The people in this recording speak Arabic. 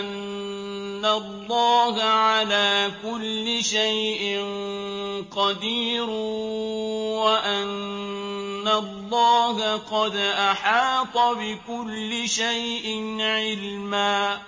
أَنَّ اللَّهَ عَلَىٰ كُلِّ شَيْءٍ قَدِيرٌ وَأَنَّ اللَّهَ قَدْ أَحَاطَ بِكُلِّ شَيْءٍ عِلْمًا